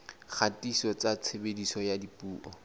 dikgatiso tsa tshebediso ya dipuo